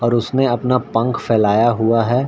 और उसने अपना पंख फैलाया हुआ है